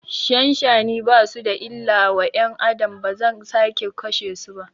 Shanshani basu da illa wa ƴan Adam, bazan sake kashe su ba